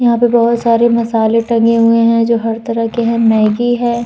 यहाँ पे बहोत सारे मसाले टंगे हुए हैं जो हर तरह के हैं। मैग्गी है।